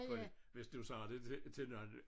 Fordi hvis du sagde det til til nogle